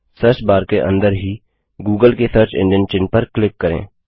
search bar के अंदर ही गूगल के सर्च एंजिन चिह्न पर क्लिक करें